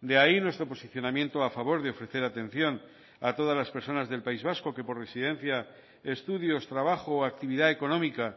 de ahí nuestro posicionamiento a favor de ofrecer atención a todas las personas del país vasco que por residencia estudios trabajo o actividad económica